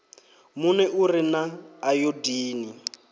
muno u re na ayodini